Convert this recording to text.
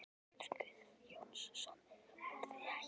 Pétur Guðjónsson: Voruð þið í hættu?